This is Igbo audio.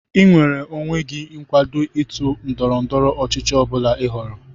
Ị nweere onwe gị ịkwado otu ndọrọ ndọrọ ọchịchị ọ bụla ị họọrọ